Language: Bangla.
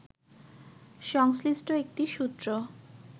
সংশ্লিষ্ট একটি সূত্র